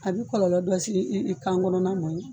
A bɛ kɔlɔlɔ dɔ se i kan kɔnɔna mɔn.